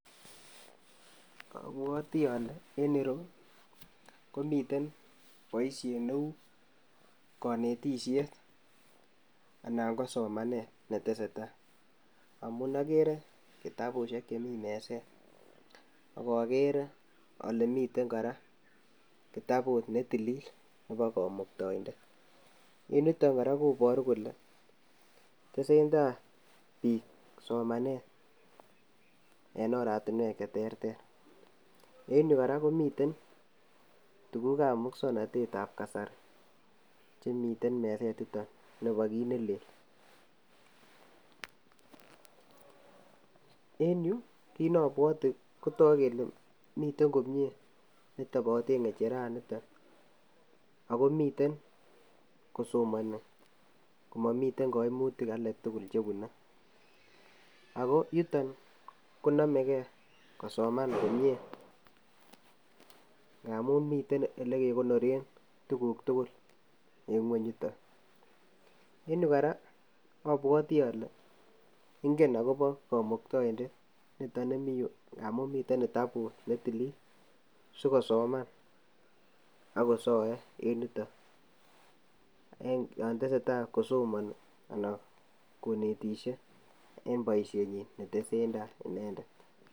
obwotii ole en ireyuu komiten boishet neu konetishet anan ko somanet netesetai amun okere kitabushe chemi meset, ak okere ole miten koraa kitabut netilil nebo komuktoindet en yutok koraa koboruu kole tesentai biik somanet en oratinwek cheterter , en yuu koraa komiten tukuk ab muswoknotet ab kasari chemiten kit nelel, en yuu kiit neobwote kotoku kele miten komie netoboten ngejeraniton ako miten kosomoni komomite koimutik alak tuku chepunee ako yutok konomegee kosoman komie ngamun miten ole kekonore tukuk tukul en ngweny yutok, en yuu koraa obwotii ole ingen okobo komuktoindet niton nemii yuu ngamun miten kitabut netilil sikosoman ak kosoe en yutok yotesetai kosomoni anan konetishe en boishenyin netesen tai inendet.